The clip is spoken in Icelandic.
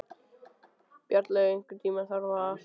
Bjarnlaug, einhvern tímann þarf allt að taka enda.